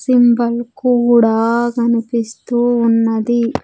Symbol కూడా కనిపిస్తూ ఉన్నది .